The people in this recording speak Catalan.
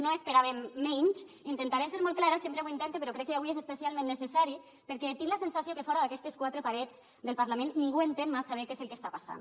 no esperàvem menys intentaré ser molt clara sempre ho intente però crec que avui és especialment necessari perquè tinc la sensació que fora d’aquestes quatre parets del parlament ningú entén massa bé què és el que està passant